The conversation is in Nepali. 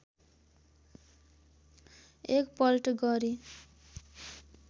एक पल्ट गरी